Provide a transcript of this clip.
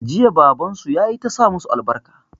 Jiya baban su ya yi ta sa masu albarka.